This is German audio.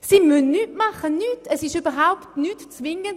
Sie müssen überhaupt nichts machen, es ist überhaupt nicht zwingend.